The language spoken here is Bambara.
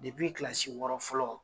kilasi wɔɔrɔ fɔlɔ